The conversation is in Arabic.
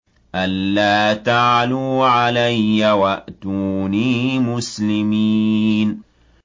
أَلَّا تَعْلُوا عَلَيَّ وَأْتُونِي مُسْلِمِينَ